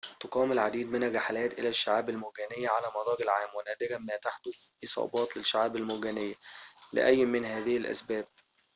تُقام العديد من الرحلات إلى الشعاب المرجانية على مدار العام ونادراً ما تحدث إصابات للشعاب المرجانية لأي من هذه الأسباب